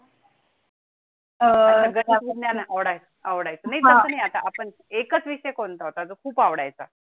अं गणित विज्ञान आवड आवडायचा. एका विषयी कोण होता तो खूप आवडायचा.